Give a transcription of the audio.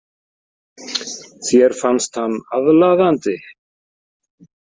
Þér fannst hann aðlaðandi.